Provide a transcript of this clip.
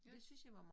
Ja